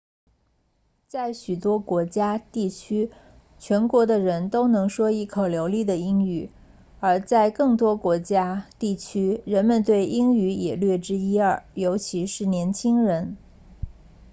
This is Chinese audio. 在许多国家地区全国的人都能说一口流利的英语而在更多的国家地区人们对英语也略知一二尤其是年轻人